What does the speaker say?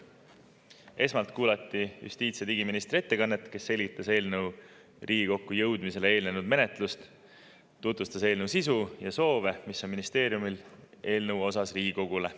Esmalt kuulati justiits- ja digiministri ettekannet, kus ta selgitas, milline oli eelnõu menetlus enne Riigikokku jõudmist, tutvustas eelnõu sisu ja ministeeriumi poolt Riigikogule soove eelnõu.